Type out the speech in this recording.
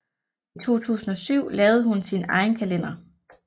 I 2007 lavede hun sin egen kalender